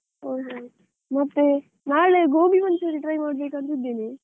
ಹೌದೌದು, ಮತ್ತೆ ನಾಳೆ gobi manchurian try ಮಾಡಬೇಕಂತ ಇದ್ದೇನೆ?